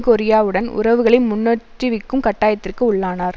கொரியாவுடன் உறவுகளை முன்னோற்றிவிக்கும் கட்டாயத்திற்கு உள்ளானார்